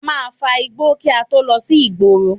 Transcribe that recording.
A máa fa igbó kí a tó lọ sí ìgboro